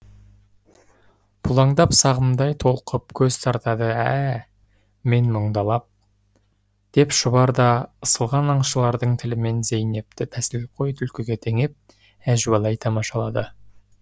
бұлаңдап сағымдай толқып көз тартады ә ә мен мұңдалап деп шұбар да ысылған аңшылардың тілімен зейнепті тәсілқой түлкіге теңеп әжуалай тамашалады